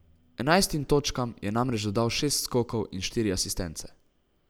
Enajstim točkam je namreč dodal šest skokov in štiri asistence.